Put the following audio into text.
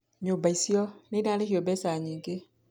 Nyũmba icio nĩ cirarĩhio mbeca nyingĩ.